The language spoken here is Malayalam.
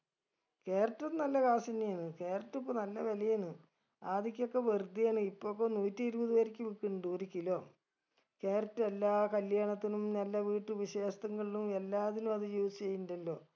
carrot ഉം നല്ല cash എന്നെയാന്ന് carrot ഉം ഇപ്പൊ നല്ല വിലയേനു ആദ്യോക്കൊക്കെ വെറുതെ ആണ് ഇപ്പൊക്കെ നൂറ്റിരുപതു വരേക്ക് വിക്ക്ന്നിണ്ട് ഒരു kilocarrot ഉ എല്ലാ കല്ല്യാണത്തിനും എല്ല വീട്ട് വിശേഷത്തങ്ങളും എല്ലാത്തിലും അത് use എയ്യിണ്ടല്ലോ